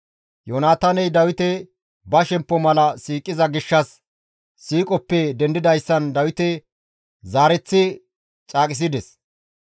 Yoonataaney Dawite ba shemppo mala siiqiza gishshas, siiqoppe dendidayssan Dawite zaareththi caaqisides.